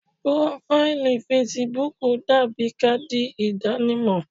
Prófáílì fesibúùkù dàbí káàdì ìdánimọ̀.